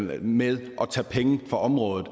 ved med at tage penge fra området